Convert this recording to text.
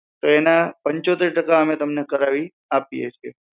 તો એના અમે તમને પંચોતેર ટકા કરાવી આપીએ છીએ